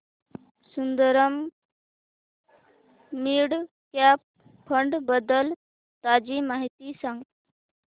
Sundaram mid cap fund बद्दल ताजी माहिती सांग